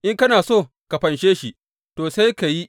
In kana so ka fanshe shi, to, sai ka yi.